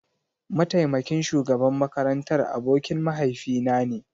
Mataimakin shugaban makarantar abokin mahaifinane